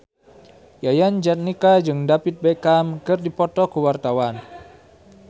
Yayan Jatnika jeung David Beckham keur dipoto ku wartawan